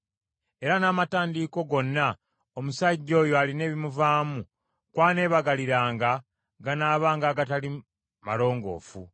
Era n’amatandiiko gonna omusajja oyo alina ebimuvaamu kw’aneebagaliranga ganaabanga agatali malongoofu,